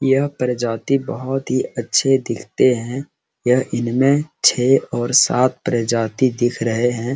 यहाँ प्रजाती बहुत ही अच्छे दिखते है इनमें छे और सात और प्रजाती दिख रहे है।